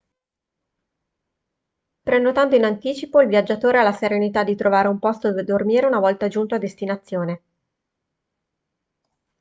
prenotando in anticipo il viaggiatore ha la serenità di trovare un posto dove dormire una volta giunto a destinazione